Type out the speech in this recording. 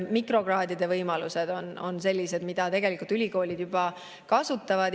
Mikrokraadide võimalusi ülikoolid juba kasutavad.